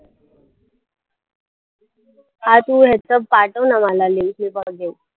हा तू ह्याचा पाठव ना मला link मी बघेन.